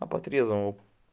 а по трезвому